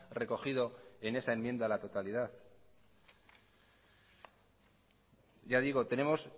recogido en esa enmienda a la totalidad ya digo tenemos